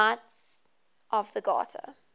knights of the garter